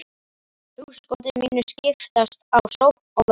hugskoti mínu skiptast á sókn og vörn.